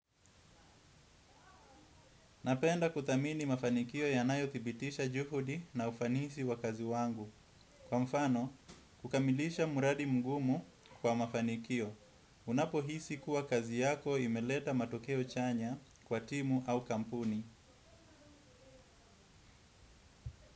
Napenda kudhamini mafanikio yanayothibitisha juhudi na ufanisi wa kazi wangu. Kwa mfano, kukamilisha mradi mgumu kwa mafanikio. Unapohisi kuwa kazi yako imeleta matokeo chanya kwa timu au kampuni.